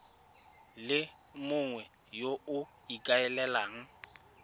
le mongwe yo o ikaelelang